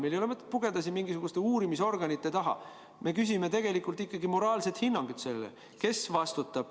Meil ei ole mõtet pugeda siin mingisuguste uurimisorganite taha, me küsime ikkagi moraalset hinnangut sellele, kes vastutab.